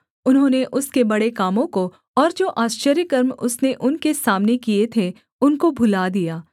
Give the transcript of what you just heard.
उन्होंने उसके बड़े कामों को और जो आश्चर्यकर्म उसने उनके सामने किए थे उनको भुला दिया